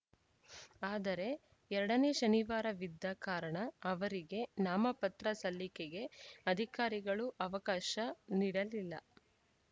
ಆದರೆ ಎರಡ ನೇ ಶನಿವಾರವಿದ್ದ ಕಾರಣ ಅವರಿಗೆ ನಾಮಪತ್ರ ಸಲ್ಲಿಕೆಗೆ ಅಧಿಕಾರಿಗಳು ಅವಕಾಶ ನೀಡಲಿಲ್ಲ